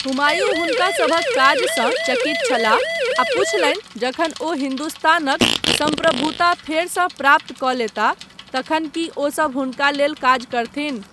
हुमायूँ हुनकासभक काजसँ चकित छलाह आ पूछलनि जखन ओ हिन्दुस्तानक सम्प्रभुता फेरसँ प्राप्त कऽ लेताह तखन कि ओसभ हुनका लेल काज करथिन।